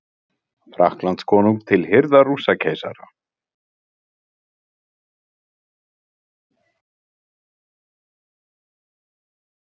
Frakkakonungs til hirðar Rússakeisara